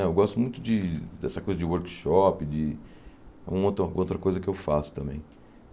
Né eu gosto muito de dessa coisa de workshop, de uma outra outra coisa que eu faço também.